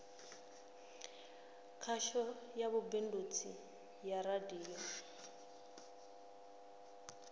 khasho ya vhubindudzi ya radio